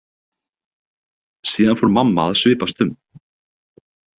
Síðan fór mamma að svipast um.